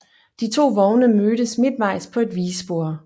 De to vogne mødes midtvejs på et vigespor